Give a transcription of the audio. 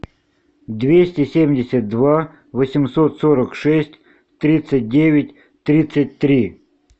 двести семьдесят два восемьсот сорок шесть тридцать девять тридцать три